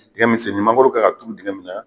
Dingɛ min senni mangoro kan ka turu dingɛ min na.